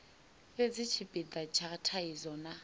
fhedzi tshipida tsha thaidzo na